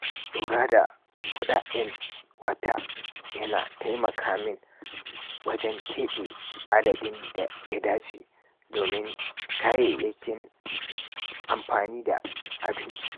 Lura da kuɗaɗen watan yana taimaka min wajen keɓe adadin da ya dace domin kayayyakin amfani da abinci.